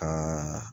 Ka